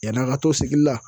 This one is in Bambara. Yani an ka to sigi la